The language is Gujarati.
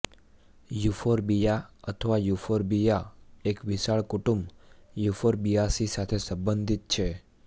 યૂફોર્બિયા અથવા યૂફોર્બિયા એક વિશાળ કુટુંબ યુફોર્બિઆસી સાથે સંબંધિત છે